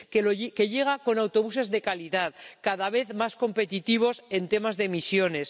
Que llega con autobuses de calidad cada vez más competitivos en temas de emisiones.